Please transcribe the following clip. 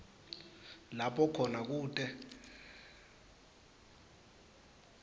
lapho khona kute